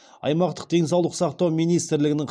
аймақтық денсаулық сақтау министрлігінің